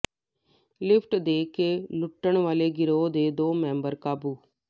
lift ਦੇ ਕੇ ਲੁੱਟਣ ਵਾਲੇ ਗਰੋਹ ਦੇ ਦੋ ਮੈਂਬਰ ਕਾਬੂ